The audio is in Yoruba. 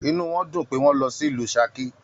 Inú wọn dùn pé wọn lọ sílù Saki